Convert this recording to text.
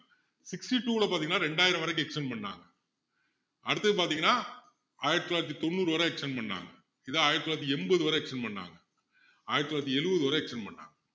sixty-two ல பாத்தீங்கன்னா இரண்டாயிரம் வரைக்கும் extend பண்ணாங்க அடுத்தது பாத்தீங்கன்னா ஆயிரத்து தொள்ளாயிரத்து தொண்ணூறு வரை extend பண்ணாங்க இதை ஆயிரத்து தொள்ளாயிரத்து எண்பது வரை extend பண்ணாங்க ஆயிரத்து தொள்ளாயிரத்து எழுபது வரை extend பண்ணாங்க